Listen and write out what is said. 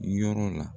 Yɔrɔ la